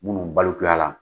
Minnu balikuya la